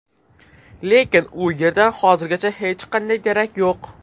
Lekin u yerdan hozirgacha hech qanday darak yo‘q.